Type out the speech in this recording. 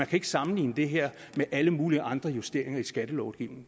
kan sammenligne det her med alle mulige andre justeringer i skattelovgivningen